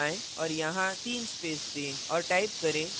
अब enter दबाएँ और यहाँ तीन space दें